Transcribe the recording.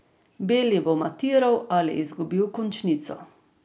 Beli bo matiral ali izgubil končnico.